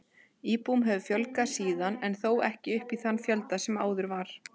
Íbúum hefur fjölgað síðan en þó ekki upp í þann fjölda sem áður var.